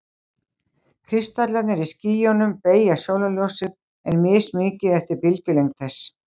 Kristallarnir í skýjunum beygja sólarljósið, en mismikið eftir bylgjulengd þess.